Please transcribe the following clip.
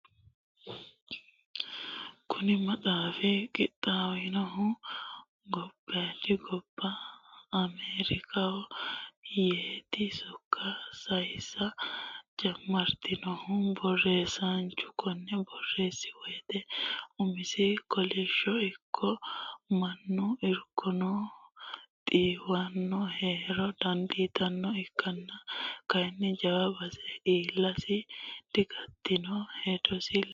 Kuni maxaafi qixaawinohu gobbadi gobba ameerikaho yeeti sokka sayisa jamarinohu borreessanchu kone borreessi woyte umisi kakaoshi ikko mannu irkono xiiwono heera dandiittano ikkonna kayinni jawa base iillasi digatino hedosi ledo.